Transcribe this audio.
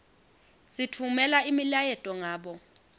sitfumela imiyaleto ngabo